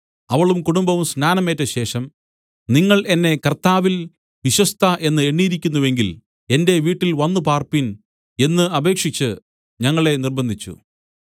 അവളും കുടുംബവും സ്നാനം ഏറ്റ ശേഷം നിങ്ങൾ എന്നെ കർത്താവിൽ വിശ്വസ്ത എന്ന് എണ്ണിയിരിക്കുന്നുവെങ്കിൽ എന്റെ വീട്ടിൽ വന്നു പാർപ്പിൻ എന്ന് അപേക്ഷിച്ച് ഞങ്ങളെ നിർബ്ബന്ധിച്ചു